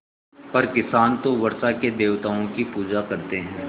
पर किसान तो वर्षा के देवताओं की पूजा करते हैं